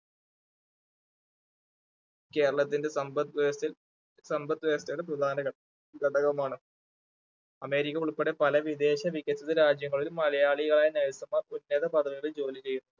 കേരളത്തിന്റെ സമ്പത്ത് വ്യവസ്ഥയിൽ സമ്പത്ത് വ്യവസ്ഥയുടെ പ്രധാന ഘ~ഘടകമാണ് അമേരിക്ക ഉൾപ്പെടെ പല വിദേശ വികസിത രാജ്യങ്ങളിൽ മലയാളിയായ nurse മാർ ഉന്നത പദവികളിൽ ജോലി ചെയ്യുന്നുണ്ട്.